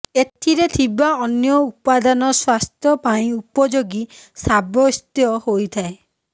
ଏଥିରେ ଥିବା ଅନ୍ୟ ଉପାଦାନ ସ୍ବାସ୍ଥ୍ୟ ପାଇଁ ଉପଯୋଗୀ ସାବ୍ୟସ୍ତ ହୋଇଥାଏ